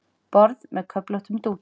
Borð með köflóttum dúki.